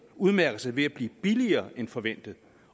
udmærker sig ved at blive billigere end forventet